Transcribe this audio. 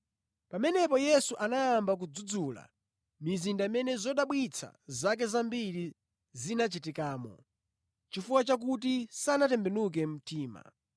Pamenepo Yesu anayamba kudzudzula mizinda imene zodabwitsa zake zambiri zinachitikamo, chifukwa chakuti sinatembenuke mtima.